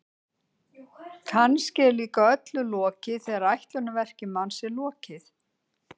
Kannski er líka öllu lokið þegar ætlunarverki manns er lokið.